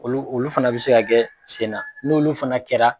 Olu olu fana bɛ se ka kɛ sen na n'olu fana kɛra.